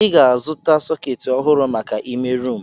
I ga-azu sọketi ọhụrụ maka ime rumụ.